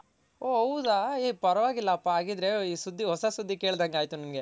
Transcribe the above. ಓ ಹೌದ ಹೇ ಪರ್ವಾಗಿಲಪ್ಪ ಹಾಗಿದ್ರೆ ಈ ಸುದ್ದಿ ಹೊಸ ಸುದ್ದಿ ಕೆಲ್ದಾಂಗ್ ಆಯ್ತ್ ನಂಗೆ